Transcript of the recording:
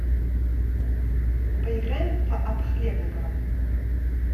поиграем в апп хлебниково